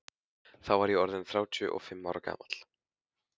Þá var ég orð inn þrjátíu og fimm ára gamall.